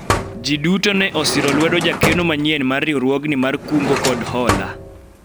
jii duto ne osiro lwedo jakeno manyien mar riwruogni mar kungo kod hola